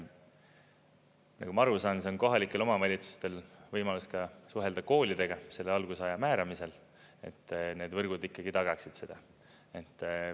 Nagu ma aru saan, on kohalikel omavalitsustel võimalus suhelda koolidega, selle algusaja määramisel, et need võrgud ikkagi tagaksid seda.